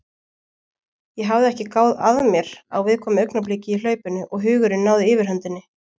Ég hafði ekki gáð að mér á viðkvæmu augnabliki í hlaupinu og hugurinn náði yfirhöndinni.